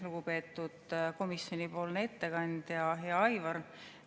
Lugupeetud komisjonipoolne ettekandja, hea Aivar!